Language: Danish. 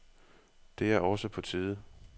Det er også på tide.